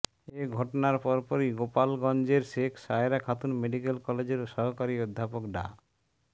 এ ঘটনার পরপরই গোপালগঞ্জের শেখ সায়েরা খাতুন মেডিকেল কলেজের সহকারী অধ্যাপক ডা